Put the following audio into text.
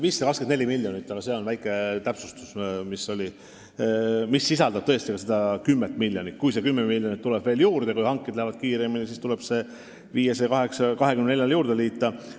524 miljonit küll, aga teen siinkohal väikese täpsustuse, et see sisaldab tõesti ka seda 10 miljonit, mis tuleb veel juurde – kui hanked lähevad kiiremini, siis tuleb see 10 miljonit 524-le juurde liita.